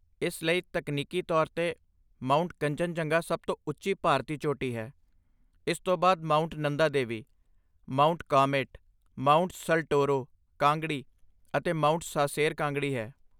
ਇਸ ਲਈ, ਤਕਨੀਕੀ ਤੌਰ 'ਤੇ, ਮਾਊਂਟ ਕੰਚਨਜੰਗਾ ਸਭ ਤੋਂ ਉੱਚੀ ਭਾਰਤੀ ਚੋਟੀ ਹੈ, ਇਸ ਤੋਂ ਬਾਅਦ mount Nanda Devi, mount Kamet, mount Saltoro Kangri, ਅਤੇ ਮਾਊਂਟ ਸਾਸੇਰ ਕਾਂਗੜੀ ਹੈ।